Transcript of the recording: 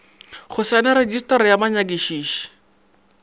go saena retšistara ya banyakišiši